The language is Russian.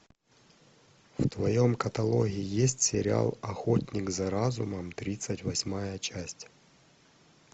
в твоем каталоге есть сериал охотник за разумом тридцать восьмая часть